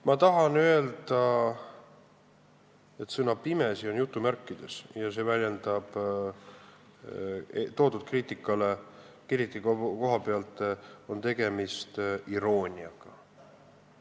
Ma tahan öelda, et sõna "pimesi" on jutumärkides ja toodud kriitika koha pealt on tegemist irooniaga.